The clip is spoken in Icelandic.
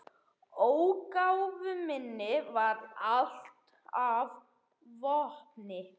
Ógæfu minni varð allt að vopni.